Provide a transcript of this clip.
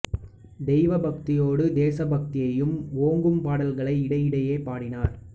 தெய்வ பக்தியோடு தேசபக்தியும் ஓங்கும் பாடல்களை இடை இடையே பாடினார்